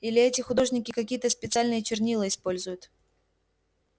или эти художники какие-то специальные чернила используют